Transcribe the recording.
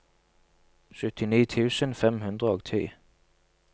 syttini tusen fem hundre og ti